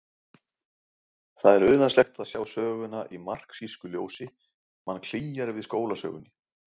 Það er unaðslegt að sjá söguna í marxísku ljósi, mann klígjar við skólasögunni.